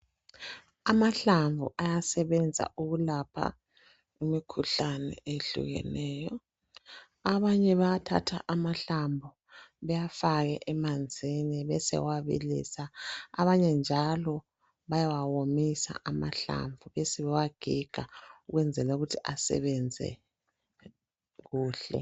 Amahlamvu ayasebenza ukulapha imikhuhlane eyehlukeneyo. Abanye bayathatha amahlamvu bewafake emanzini besebewabilisa. Abanye njalo bayawawomisa amahlamvu besebewagiga ukwenzela ukuthi asebenze kuhle.